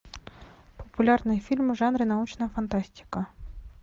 популярные фильмы в жанре научная фантастика